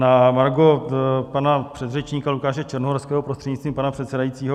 Na margo pana předřečníka Lukáše Černohorského prostřednictvím pana předsedajícího.